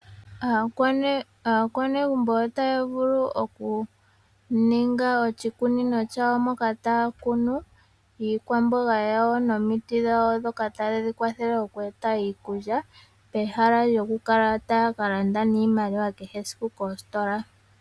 Aakwanegumbu otaya vulu okuninga oshikunino shawo shoka taakunu iikwamboga yawo nomiti dhawo ndhoka tadhi yakwathele okweeta iikulya pehala lyoku kala taya kalanda iimaliwa kehe esiku kositola